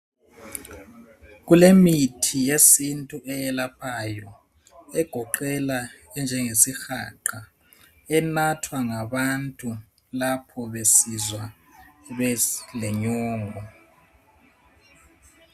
Kulemithi yesintu eyelaphayo egoqela enjengesihaqa enathwa ngabantu lapho besizwa belenyongo.